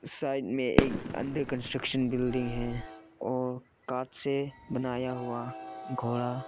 Side में एक under construction building है और कांच से बनाया हुआ घोड़ा।